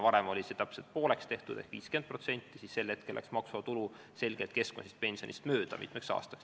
Varem oli see vahekord täpselt pooleks ehk 50%, sel hetkel läks maksuvaba tulu selgelt keskmisest pensionist mitmeks aastaks mööda.